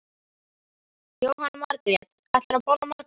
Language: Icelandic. Jóhanna Margrét: Ætlarðu að borða margar?